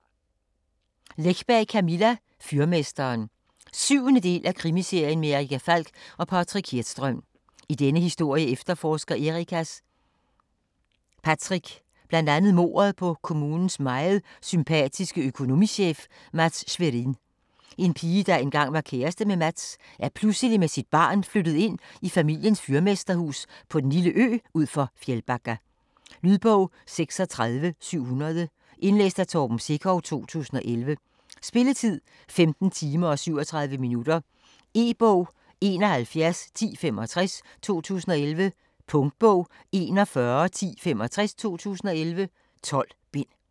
Läckberg, Camilla: Fyrmesteren 7. del af Krimiserien med Erica Falck og Patrik Hedström. I denne historie efterforsker Ericas Patrick bl.a. mordet på kommunens meget sympatiske økonomichef, Mats Sverin. En pige, der engang var kæreste med Mats, er pludselig med sit barn flyttet ind i familiens fyrmesterhus på den lille ø ud for Fjällbacka. Lydbog 36700 Indlæst af Torben Sekov, 2011. Spilletid: 15 timer, 37 minutter. E-bog 711065 2011. Punktbog 411065 2011. 12 bind.